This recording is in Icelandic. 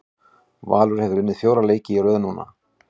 Valur hefur unnið fjóra leiki í röð núna.